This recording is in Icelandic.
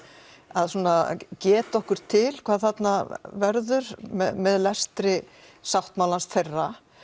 að svona geta okkur til hvað þarna verður með lestri sáttmálans þeirra